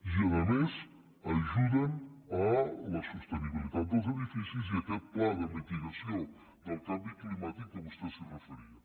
i a més ajuden a la sostenibilitat dels edificis i a aquest pla de mitigació del canvi climàtic que vostè s’hi referia